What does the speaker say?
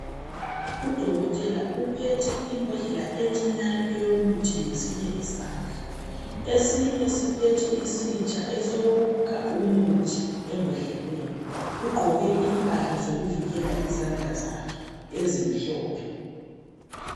Udokotela uphethe imbodlela encinyane eyomuthi ngesinye isandla, esinye siphethe isitsha esokukha umuthi embodleleni. Ugqoke impahla zokuvikela izandla zakhe ezimhlophe.